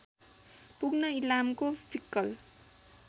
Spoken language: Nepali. पुग्न इलामको फिक्कल